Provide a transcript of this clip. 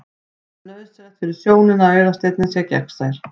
Það er nauðsynlegt fyrir sjónina að augasteininn sé gegnsær.